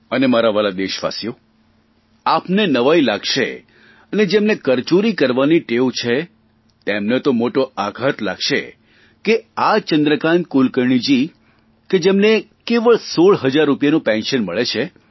અને મારા વ્હાલા દેશવાસીઓ આપને નવાઇ લાગશે અને જેમને કરચોરી કરવાની ટેવ છે તેમને તો મોટો આઘાત લાગશે કે આ ચંદ્રકાન્ત કુલકર્ણીએ કે જેમને કેવળ 16 હજાર રૂપિયાનું પેન્શન મળે છે